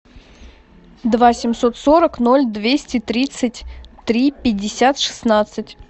два семьсот сорок ноль двести тридцать три пятьдесят шестнадцать